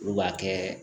Olu b'a kɛ